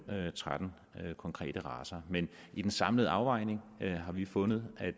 tretten konkrete racer men i den samlede afvejning har vi fundet at